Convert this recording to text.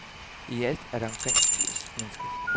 I alt er der omkring firs mennesker.